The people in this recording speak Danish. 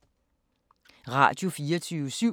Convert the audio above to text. Radio24syv